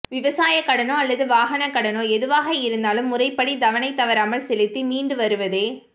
விவசாயக் கடனோ அல்லது வாகனக் கடனோ எதுவாக இருந்தாலும் முறைப்படி தவணை தவறாமல் செலுத்தி மீண்டு வருவதே